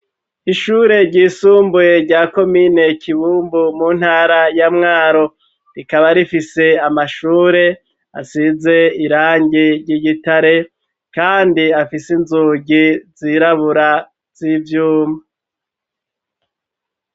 Ishure ryisumbuye rya komine Kibumbu mu ntara ya Mwaro, rikaba rifise amashure asize irangi ry'igitare kandi afise inzugi zirabura z'ivyuma.